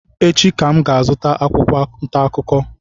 Echi ka m ga-azụta akwụkwọ ntaakụkọ